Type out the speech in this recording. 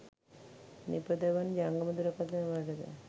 නිපදවන ජංගම දුරකථන වල ද